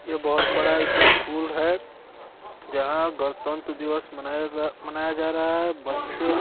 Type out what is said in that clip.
ये बहोत बड़ा इसकुल है जहां गणतंत्र दिवस मनाया मनाया जा रहा है बच्चे --